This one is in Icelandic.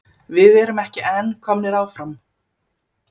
Við erum ekki en komnir áfram?